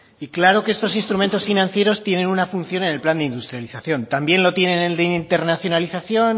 y claro que estos instrumentos financieros tienen una función en el plan de industrialización también lo tiene en el de internacionalización